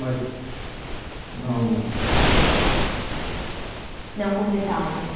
Mas não... Não com detalhes?